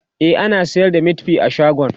e ana sayar da meatfie a shagon